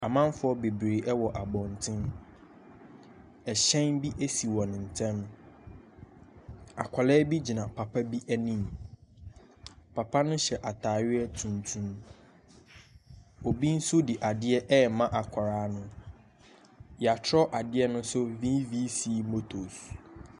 Amamfoɔ bebree wɔ abɔnten, hyɛn bi si wɔn nkyɛn. Akwadaa bi gyina papa bi anim. Papa no hyɛ ataadeɛ tuntum. Obi nso de adeɛ ɛrema akwadaa no. Yɛatwerɛ ade ne so VVC motos.